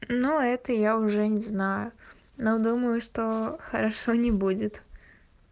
ну это я уже не знаю но думаю что хорошо не будет